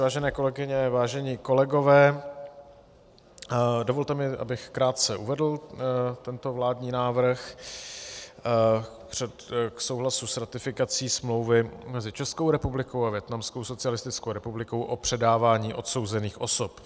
Vážené kolegyně, vážení kolegové, dovolte mi, abych krátce uvedl tento vládní návrh k souhlasu s ratifikací Smlouvy mezi Českou republikou a Vietnamskou socialistickou republikou o předávání odsouzených osob.